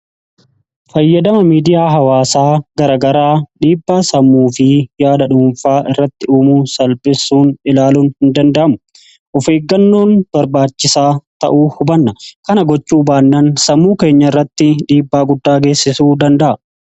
Fayyadama miidiyaa hawaasaa garagaraa dhiibbaa sammuu fi yaada dhuunfaa irratti uumuu salphisuun ilaaluun hin danda'amu. Of eeggannoon barbaachisaa ta'uu hubanna. Kana gochuu baannaan sammuu keenya irratti dhiibbaa guddaa geessisuu danda'a.